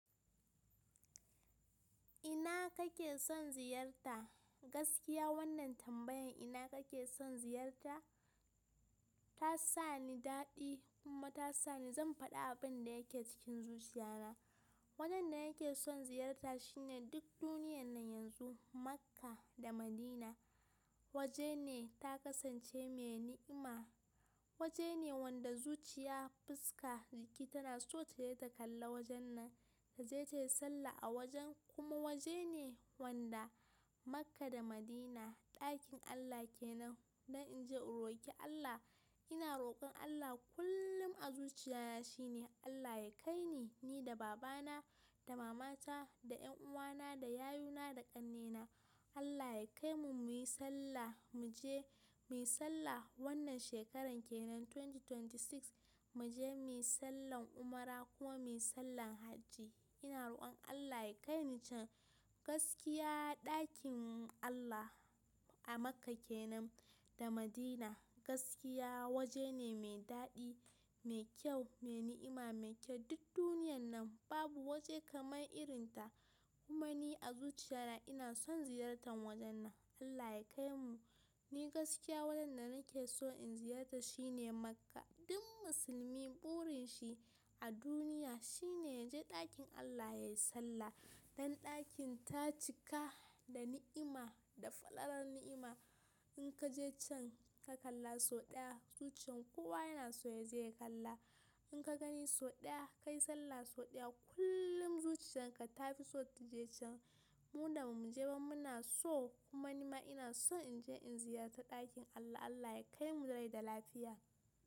Ina kake son ziyarta? Gaskiya wannan tambayan ina kake son ziyarta ta sa ni daɗi kuma ta sa ni zan faɗa abin da yake cikin zuciya na. Wanin da yake son ziyarta shine duk duniyan nan yanzu Makka da Madina. Waje ne ta kasance mai ni'ima, waje ne wanda zuciya fuska jiki tana so ta je ta kalla wajen nan ta je ta yi sallah a wajen kuma waje ne wanda Makka da Madina ɗakin Allah kenan. Don in je in roki Allah ina rokon Allah kullum a zuciya na shine Allah ya kai ni, ni da baba na, da mama ta, da ƴan uwa na, da yayuna, da ƙannena. Allah ya kai mu muyi sallah, mu je muyi sallah wannan shekaran kenan dubu biyu da ashirin da shida mu je muyi sallan umra kuma muyi sallan hajji. Ina rokon Allah ya kai ni can. Gaskiya ɗakin Allah a Makka kenan da Madina gaskiya waje ne mai daɗi, mai kyau, mai ni'ima, mai kyau. Duk duniyan nan babu waje kamar irin ta kuma ni a zuciya na ina son ziyartan wajen nan. Allah ya kai mu. Ni gaskiya wajen da nake so in ziyarta shine Makka. Duk musulmi burin shi a duniya shine ya je ɗakin Allah ya yi sallah. Dan ɗakin ta cika da ni'ima, da falalar ni'ima. In ka je can ka kalla sau ɗaya zuciyan kowa yana so ya je ya kalla. In ka gani sau ɗaya, ka yi sallah sau ɗaya kullum zuciyar ka ta fi so ta je can. Mu da ba mu je ba mu na so kuma ni ma ina so in je in ziyarta ɗakin Allah. Allah ya kai mu da rai da lafiya.